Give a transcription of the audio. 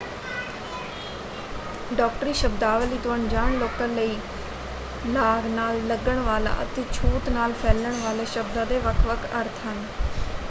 ਡਾਕਟਰੀ ਸ਼ਬਦਾਵਲੀ ਤੋਂ ਅਣਜਾਣ ਲੋਕਾਂ ਲਈ ਲਾਗ ਨਾਲ ਲੱਗਣ ਵਾਲਾ ਅਤੇ ਛੂਤ ਨਾਲ ਫੈਲਣ ਵਾਲੇ ਸ਼ਬਦਾਂ ਦੇ ਵੱਖ-ਵੱਖ ਅਰਥ ਹਨ।